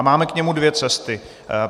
A máme k němu dvě cesty.